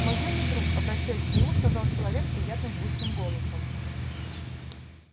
мой юный друг обращаясь к нему сказал человек приятным звучным голосом